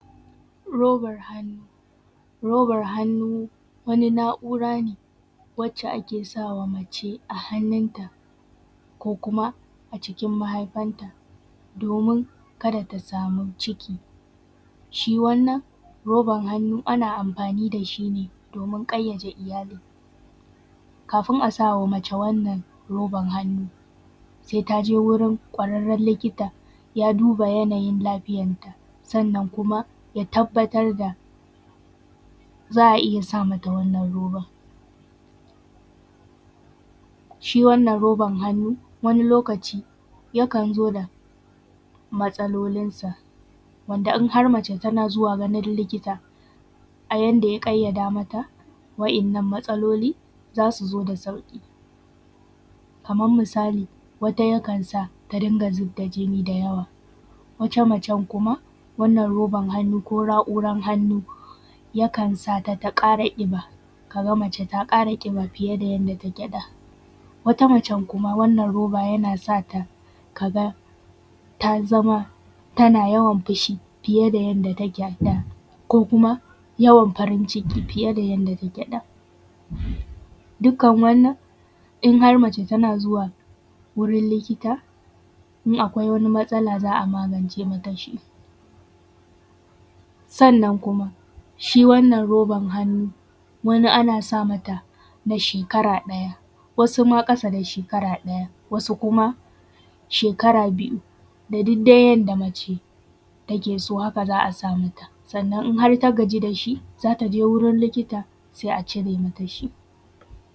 Robar hannu, roban hannu wani na’u’ra ne, wacce ake sawa mace a hannunta ko kuma acikin mahaifanta, domin kada ta sami ciki. Shi wanna roban hannu ana amfani da shi ne domin ƙayyade iyali. Kafin a sawa mace wannan roban hannu sai ta je wajen ƙwararren likita ya duba yanayin lafiyarta sannan kuma ya tabbatar da, za a iya sa mata wannan roban. Shi wanna roban hannu wani lokaci yakan zo da matsala matsalolinsa, wanda in har mace tana zuwa ganin likita a yadda ya ƙayyada mata, wa’yannan matsalolin za su zo da sauƙi. Kaman misali wata yakan sa ta, ta dinga zub da jinni da yawa. Wata macen kuma wanna roban hannu ko na’uran hannu, yakan sa ta, ta ƙara ƙiba ka ga mace ta ƙara ƙiba fiye da yadda take da. Wata nacen kuma wanna roba yana sa ta, ka ga ta zama, tana yawan fishi fiye da yadda take a da, ko kuma yawan farin ciki fiye da yadda take da. Dukkan wannan in har mace tana zuwa wurin likita, in akwai wani matsala za a magance mata shi. Sannan kuma shi wanna roban hannu wata ana sa mata na shekara ɗaya, wasu ma ƙasa da shekara ɗaya, wasu kuma shekara biyu da dig dai yadda mace take so, haka za a sa mata, sannan in har in ta gaji da shi za ta je wurin likita sai a cire mata shi.